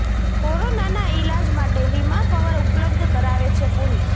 કોરોનાના ઈલાજ માટે વીમા કવર ઉપલબ્ધ કરાવે છે પોલિસી